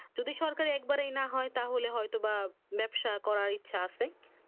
যদি সরকারি একেবারেই না হয় তাহলে হয় তো বা ব্যবসা করার ইচ্ছে আছে